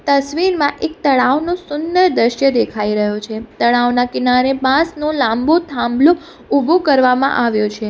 તસવીરમાં એક તળાવનું સુંદર દ્રશ્ય દેખાઈ રહ્યું છે તળાવના કિનારે બાંસનુ લાંબુ થાંભલુ ઊભું કરવામાં આવ્યો છે.